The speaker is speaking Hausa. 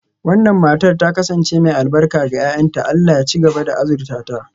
Wannan matar ta kasance mai albarka ga 'ya'yanta, Allah ya ci gaba da azurta ta.